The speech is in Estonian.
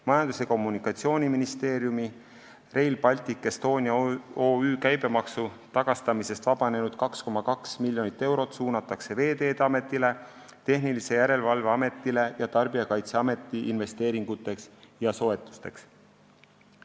Majandus- ja Kommunikatsiooniministeeriumi Rail Baltic Estonia OÜ käibemaksu tagastamisest vabanenud 2,2 miljonit eurot suunatakse Veeteede Ametile, Tehnilise Järelevalve Ametile ja Tarbijakaitseametile investeeringuteks ja soetusteks.